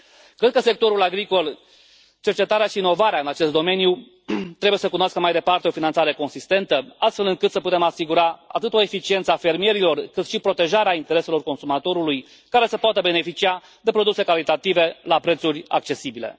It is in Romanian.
Cred că sectorul agricol, cercetarea și inovarea în acest domeniu trebuie să cunoască mai departe o finanțare consistentă, astfel încât să putem asigura atât o eficiență a fermierilor, cât și protejarea intereselor consumatorului, care să poată beneficia de produse calitative la prețuri accesibile.